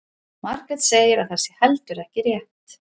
Margrét segir að það sé heldur ekki rétt.